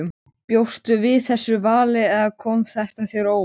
Bjóstu við þessu vali eða kom þetta þér á óvart?